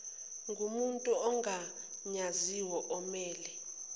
ngomuntu ogunyaziwe omele